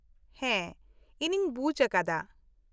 -ᱦᱮᱸ ᱤᱧᱤᱧ ᱵᱩᱡᱽ ᱟᱠᱟᱫᱟ ᱾